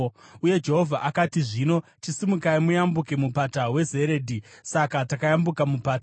Uye Jehovha akati, “Zvino chisimukai muyambuke Mupata weZeredhi.” Saka takayambuka mupata.